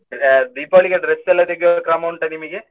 Deepavali ಗೆ dress ಎಲ್ಲಾ ತೆಗೆಯುವ ಕ್ರಮ ಉಂಟಾ ನಿಮಗೆ?